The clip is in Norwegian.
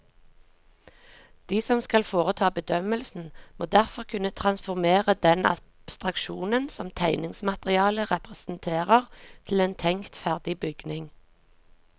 De som skal foreta bedømmelsen, må derfor kunne transformere den abstraksjonen som tegningsmaterialet representerer til en tenkt ferdig bygning.